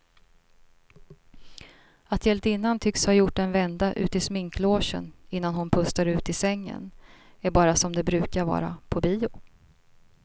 Att hjältinnan tycks ha gjort en vända ut i sminklogen innan hon pustar ut i sängen är bara som det brukar vara på bio.